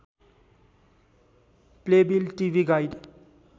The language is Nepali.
Playbill TV guide